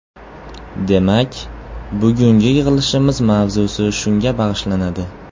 Demak, bugungi yig‘ilishimiz mavzusi shunga bag‘ishlanadi.